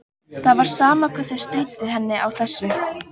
Það var sama hvað þau stríddu henni á þessu.